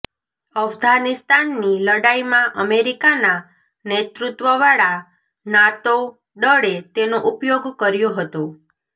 અફઘાનિસ્તાનની લડાઈમાં અમેરિકાના નેતૃત્વવાળા નાટો દળે તેનો ઉપયોગ કર્યો હતો